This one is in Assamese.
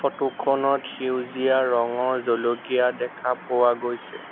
ফটো খনত সেউজীয়া ৰঙৰ জলকীয়া দেখা পোৱা গৈছে।